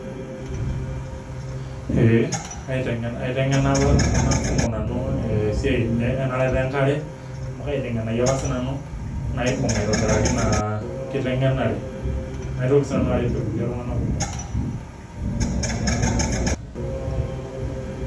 Eeh aitengena aitengena nanu ltunganak kumok e siai nye enarata enkare amu aitengenaki apa sinanu naibung aitobiraki inakitengenare naitoki sinanu aret irkulie tunganak kumok.